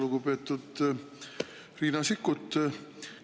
Lugupeetud Riina Sikkut!